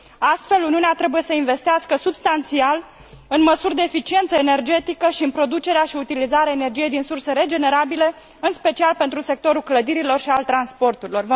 Astfel, Uniunea trebuie să investească substanțial în măsuri de eficiență energetică și în producerea și utilizarea energiei din surse regenerabile, în special pentru sectorul clădirilor și al transporturilor.